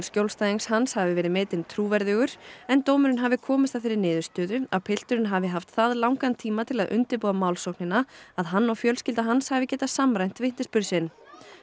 skjólstæðings hans hafi verið metinn trúverðugur en dómurinn hafi komist að þeirri niðurstöðu að pilturinn hafi haft það langan tíma til þess að undirbúa málsóknina að hann og fjölskylda hans hafi getað samræmt vitnisburð sinn